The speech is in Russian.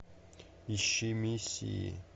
ищи миссии